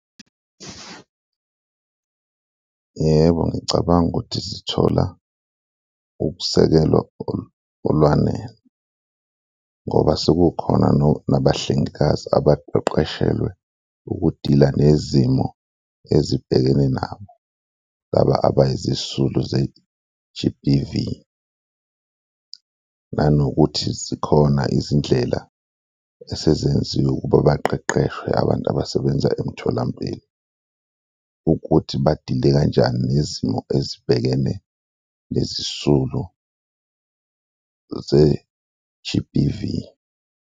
Yebo, ngicabanga ukuthi zithola ukusekelwa olwanele ngoba sekukhona nabahlengikazi abaqeqeshelwe ukudila nezimo ezibhekene nabo laba abayizisulu ze-G_B_V nanokuthi zikhona izindlela esezenziwe ukuba baqeqeshwe abantu abasebenza emtholampilo ukuthi badile kanjani nezimo ezibhekene nezisulu ze-G_B_V.